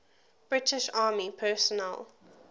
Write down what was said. british army personnel